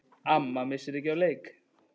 Amma missir ekki af leik.